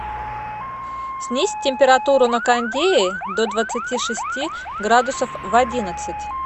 снизь температуру на кондее до двадцати шести градусов в одиннадцать